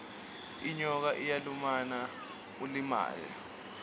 inyoka iyalumana ulimale